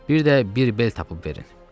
Bir də bir bel tapıb verin.